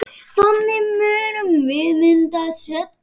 Þannig munum við minnast hennar.